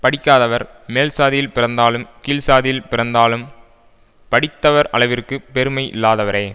படிக்காதவர் மேல்சாதியில் பிறந்தாலும் கீழ்சாதியில் பிறந்தாலும் படித்தவர் அளவிற்கு பெருமை இல்லாதவரே